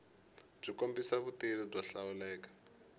byi kombisa vutivi byo hlawuleka